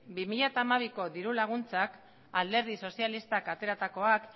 bi mila hamabiko diru laguntzak alderdi sozialistak ateratakoak